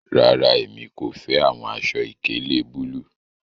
Rara, emi ko fẹ awọn aṣọ-ìkéle bulu